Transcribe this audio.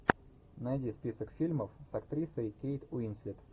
найди список фильмов с актрисой кейт уинслет